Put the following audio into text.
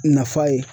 Nafa ye